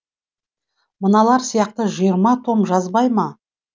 мыналар сияқты жиырма том жазбай ма